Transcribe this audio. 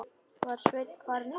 Var Sveinn farinn út?